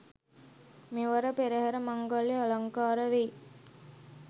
මෙවර පෙරහර මංගල්‍යය අලංකාර වෙයි.